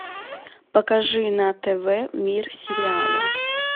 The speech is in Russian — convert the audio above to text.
покажи на тв мир сериала